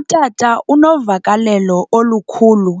Utata unovakalelo olukhulu